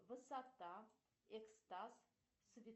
высота экстаз